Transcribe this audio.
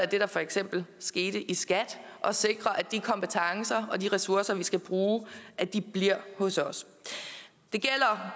det der for eksempel skete i skat og sikrer at de kompetencer og de ressourcer vi skal bruge bliver hos os